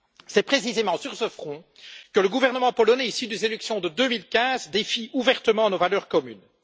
C'est précisément sur ce front que le gouvernement polonais issu des élections de 2015 défie ouvertement nos valeurs communes.